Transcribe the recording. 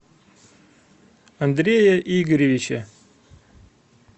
андрея игоревича